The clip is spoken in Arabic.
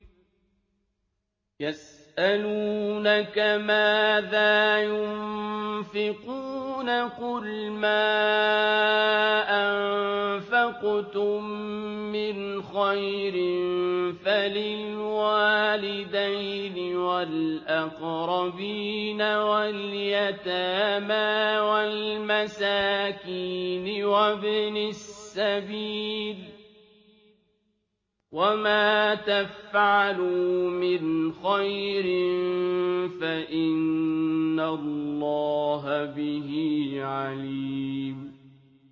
يَسْأَلُونَكَ مَاذَا يُنفِقُونَ ۖ قُلْ مَا أَنفَقْتُم مِّنْ خَيْرٍ فَلِلْوَالِدَيْنِ وَالْأَقْرَبِينَ وَالْيَتَامَىٰ وَالْمَسَاكِينِ وَابْنِ السَّبِيلِ ۗ وَمَا تَفْعَلُوا مِنْ خَيْرٍ فَإِنَّ اللَّهَ بِهِ عَلِيمٌ